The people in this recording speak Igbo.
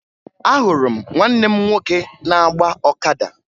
Ahụrụ m nwanne m nwoke na-agba ọkada